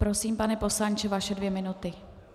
Prosím, pane poslanče, vaše dvě minuty.